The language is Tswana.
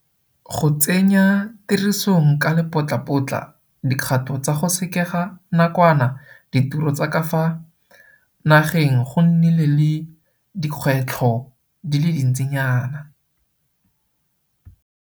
Go tsenya tirisong ka lepotlapotla dikgato tsa go sekega nakwana ditiro tsa ka fa nageng go nnile le dikgwetlho di le dintsinyana.